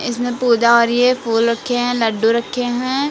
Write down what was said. पूजा हो रही है फूल रखे हैं लड्डू रखे हैं।